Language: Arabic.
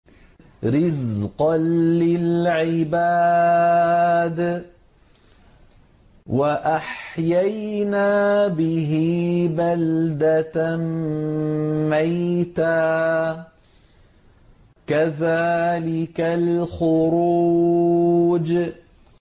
رِّزْقًا لِّلْعِبَادِ ۖ وَأَحْيَيْنَا بِهِ بَلْدَةً مَّيْتًا ۚ كَذَٰلِكَ الْخُرُوجُ